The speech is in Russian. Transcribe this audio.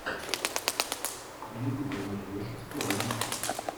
в ютубе ты найдешь у себя ремиксы